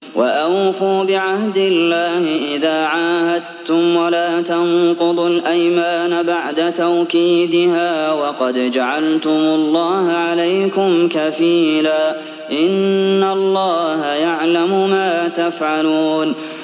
وَأَوْفُوا بِعَهْدِ اللَّهِ إِذَا عَاهَدتُّمْ وَلَا تَنقُضُوا الْأَيْمَانَ بَعْدَ تَوْكِيدِهَا وَقَدْ جَعَلْتُمُ اللَّهَ عَلَيْكُمْ كَفِيلًا ۚ إِنَّ اللَّهَ يَعْلَمُ مَا تَفْعَلُونَ